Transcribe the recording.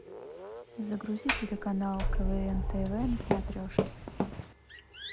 загрузи телеканал квн тв на смотрешке